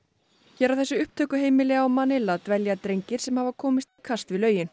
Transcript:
hér á þessu upptökuheimili á dvelja drengir sem hafa komst í kast við lögin